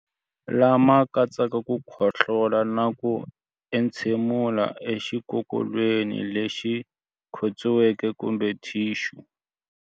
Lama katsaka ku khohlola na ku entshemulela exikokolweni lexi khotsiweke kumbe thixu.